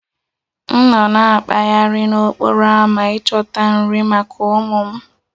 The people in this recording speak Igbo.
M nọ na-akpaghari n'okporo ámá ịchọta nri maka ụmụ m